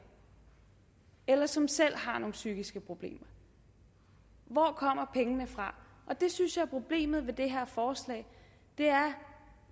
eller som selv har nogle psykiske problemer hvor kommer pengene fra det synes jeg er problemet med det her forslag det er